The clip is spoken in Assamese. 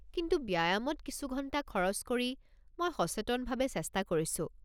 কিন্তু ব্যায়ামত কিছু ঘণ্টা খৰচ কৰি মই সচেতনভাৱে চেষ্টা কৰিছোঁ।